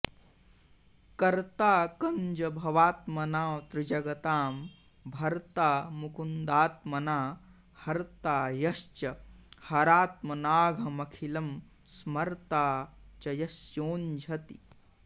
कर्ता कञ्जभवात्मना त्रिजगतां भर्ता मुकुन्दात्मना हर्ता यश्च हरात्मनाघमखिलं स्मर्ता च यस्योज्झति